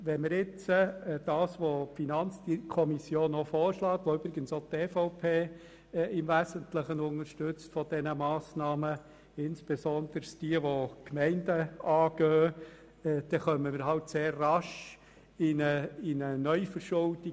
Wenn wir jetzt die Vorschläge der FiKo, welche übrigens auch die EVP im Wesentlichen unterstützt, annehmen, geraten wir jedoch sehr rasch in eine Neuverschuldung.